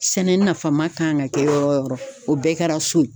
Sɛnɛ nafama kan ka kɛ yɔrɔ o yɔrɔ o bɛɛ kɛra so ye